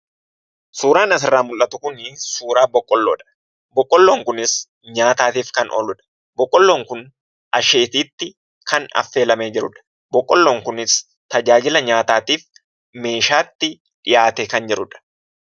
Suuraan asirra mul'atu kun, suuraa boqqolloodha. boqqolloon kunis, nyaatatatif kan ooludha. boqolloon kun asheetitti, kan affeelamee jirudha. Boqqolloon kunis, tajaajila nyaatatif, meeshaatti dhi'aate kan jirudha.